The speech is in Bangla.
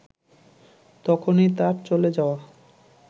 তখনই তার চলে যাওয়া